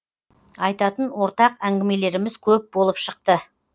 айтатын ортақ әңгімелеріміз көп болып шықты